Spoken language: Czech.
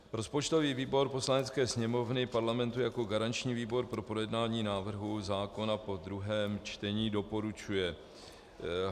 Rozpočtový výbor Poslanecké sněmovny Parlamentu jako garanční výbor pro projednání návrhu zákona po druhém čtení doporučuje